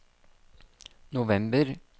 november